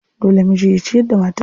Dole miji ya ciyar da matarsa.